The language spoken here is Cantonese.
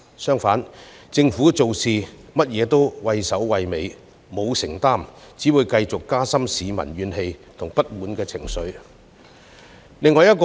假如政府做甚麼事也畏首畏尾，欠缺承擔，則只會令市民的怨氣和不滿情緒繼續加深。